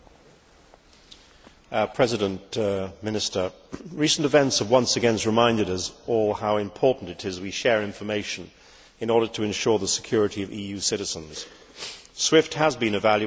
Mr President, recent events have once again reminded us all how important it is that we share information in order to ensure the security of EU citizens. SWIFT has been a valuable tool in achieving this.